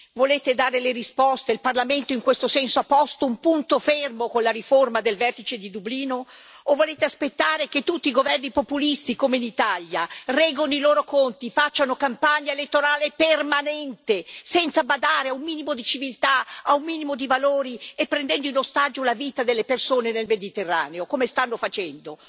Volete dare risposte e il Parlamento in questo senso ha posto un punto fermo con la riforma del vertice di Dublino o volete aspettare che tutti i governi populisti come in Italia reggano i loro conti, facciano campagna elettorale permanente, senza badare a un minimo di civiltà, a un minimo di valori, e prendendo in ostaggio la vita delle persone nel Mediterraneo, come stanno facendo,